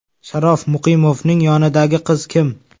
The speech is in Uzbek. Sharof Muqimovning yonidagi qiz kim?.